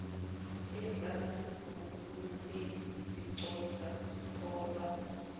ezazivunule ziconsa ziholwa